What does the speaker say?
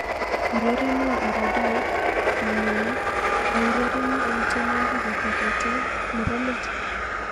Urerenwo orodhait nenyune aurereni eng tienwoki kogete nebo let